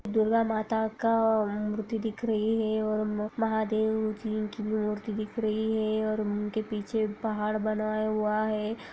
दुर्गा माता का मूर्ति दिख रही है और महादेव जी की मूर्ति दिख रही है और उनके पीछे पहाड़ बनाया हुआ है।